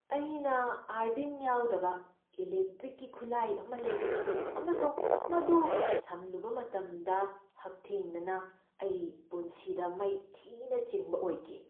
ꯑꯩꯅ ꯑꯔꯗꯤꯡ ꯌꯥꯎꯗꯕ ꯏꯂꯦꯛꯇ꯭ꯔꯤꯛꯀꯤ ꯈꯨꯠꯂꯥꯏ ꯑꯃ ꯂꯩꯔꯛꯈꯤ ꯑꯃꯁꯨꯡ ꯃꯗꯨ ꯁꯝꯂꯨꯕ ꯃꯇꯝꯗ, ꯍꯛꯊꯦꯡꯅꯅ, ꯑꯩ ꯄꯨꯟꯁꯤꯗ ꯃꯩ ꯊꯤꯅ ꯆꯤꯡꯕ ꯑꯣꯏꯈꯤ ꯫